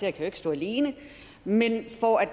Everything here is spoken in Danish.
ikke kan stå alene men at man for at